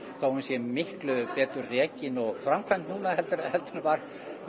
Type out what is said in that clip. þó hún sé miklu betur rekin og framkvæmd núna heldur en var